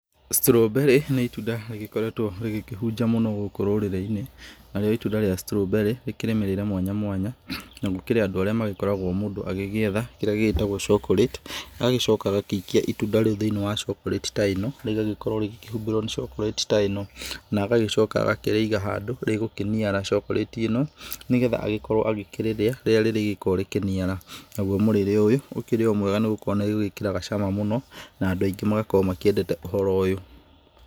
strawberry nĩ itunda rĩgĩkoretwo rĩkĩhunja mũno gũkũrũrĩrĩ-inĩ, narĩo itunda rĩa strawberry rĩkĩrĩ mĩrĩre mwanya mwanya. Na gukĩrĩ andũa rĩa magĩkoragwo mundũ agĩetha kĩrĩa gĩgĩtagwo cokorĩti, agagĩcoka agagiikia itunda rĩu thiinĩ wa cokorĩti ta ĩno rĩgagikorwo rĩgikĩhumbĩrwo ni cokorĩti ta ĩno. Agacoka agakĩrĩiga hjandũ rĩgũkĩniara cokorĩti ĩno. Nĩ getha agĩkorwo agĩkĩrĩrĩa rĩgũkorwo rikĩniara. Naguo mũrĩre ũyũ ũkĩrĩ mwega nĩ gũkorwo nĩ rĩwĩkĩraga cama mũno na andũ andu aingĩ nĩ makoragwo makĩendete ũhoro ũyũ.